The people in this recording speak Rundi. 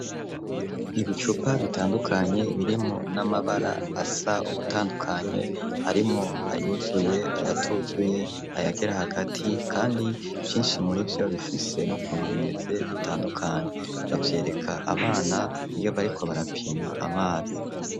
Ibicupa bitandukanye, birimwo n'amabara, asa ugutandukanye, harimwo ayuzuye, ayatuzuye, ayagera hagati; kandi vyinshi muri vyo, bifise n'ukuntu bimeze, bitandukanye; bavyereka abana, iyo bariko barapima amazi.